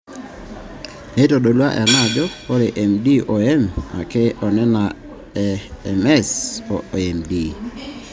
Neitodolu ena ajo ore MD o M ake onena e MS oMD.